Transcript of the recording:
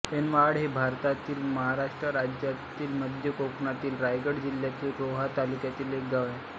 ऐनवहाळ हे भारतातील महाराष्ट्र राज्यातील मध्य कोकणातील रायगड जिल्ह्यातील रोहा तालुक्यातील एक गाव आहे